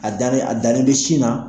A dannen a dannen be sin na